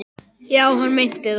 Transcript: Já, hann meinti það.